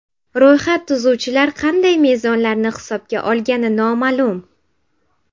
Ro‘yxat tuzuvchilar qanday mezonlarni hisobga olgani noma’lum.